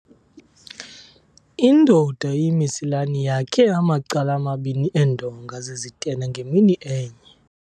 Indoda eyimesilani yakhe amacala amabini eendonga zezitena ngemini enye.